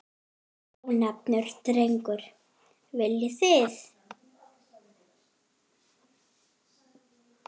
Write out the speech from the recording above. Ónefndur drengur: Viljið þið?